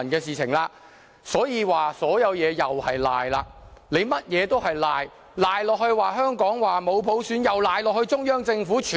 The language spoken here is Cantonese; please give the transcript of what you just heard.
所以，不管是甚麼事情，他們都要抵賴，香港沒有普選亦抵賴在中央政府身上。